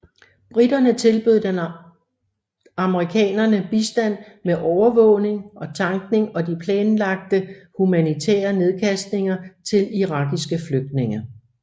Briterne tilbød den amerikanerne bistand med overvågning og tankning og de planlagte humanitære nedkastninger til irakiske flygtninge